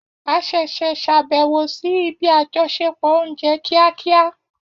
A ṣẹ̀ṣẹ̀ ṣàbẹ̀wò sí ibi àjọṣepọ̀ oúnjẹ kíákíá